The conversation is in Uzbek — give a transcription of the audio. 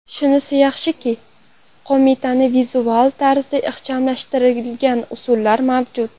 Shunisi yaxshiki, qomatni vizual tarzda ixchamlashtiradigan usullar mavjud.